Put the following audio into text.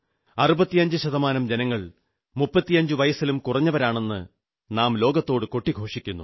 65 ശതമാനം ജനങ്ങൾ 35 വയസ്സിലും കുറഞ്ഞവരാണെന്ന് നാം ലോകത്തോടു കൊട്ടിഘോഷിക്കുന്നു